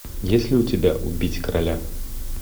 есть ли у тебя убить короля